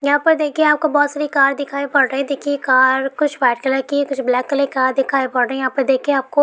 यहां पे देखिए आप को बहुत सारी कार दिखाई पड़ रही है देखिये कार कुछ वाईट कलर की कुछ ब्लेक कलर की कार की दिखाई पड़ रही है यहां पे देखिये आप को --